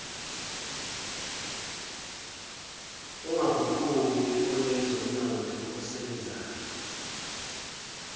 ongaguquki onezomnotho osebenzayo